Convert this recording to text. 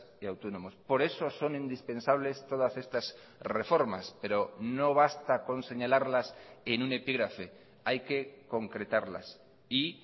y autónomos por eso son indispensables todas estas reformas pero no basta con señalarlas en un epígrafe hay que concretarlas y